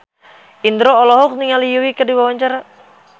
Indro olohok ningali Yui keur diwawancara